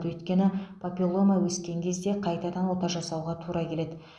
өйткені папиллома өскен кезде қайтадан ота жасауға тура келеді